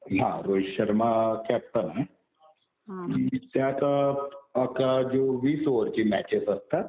हा. रोहित शर्मा कॅप्टन आहे. त्यात वीस ओव्हरची मॅचेस असतात.